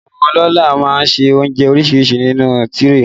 Àwọn ọlọ́lá má ń ṣe oúnjẹ oríṣiríṣi sínú tíréè